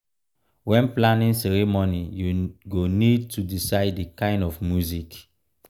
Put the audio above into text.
when planning ceremony you go need to decide di kind of music